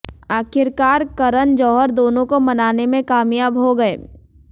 आखिरकार करण जौहर दोनों को मनाने में कामयाब हो गए